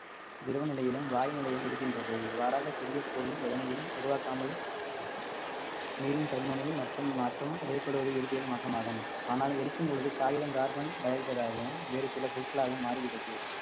திரவ நிலையிலும் வாய் நிலையும் இருக்கின்றது இவ்வாறாக புதிய பொருள் எதனையும் உருவாக்காமல் நீரின் பருமனில் மட்டும் மாற்றம் ஏற்படுவது இயற்பியல் மாற்றமாகும் ஆனால் எரிக்கும் பொழுது காகிதம் carbon dioxide ஆகவும் வேறு சில பொருட்களாகவும் மாறுகிறது